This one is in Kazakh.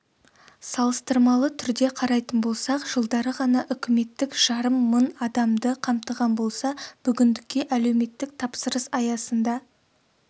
салыстырмалы түрде қарайтын болсақ жылдары ғана үкіметтік жарым мың адамды қамтыған болса бүгіндікке әлеуметтік тапсырыс аясында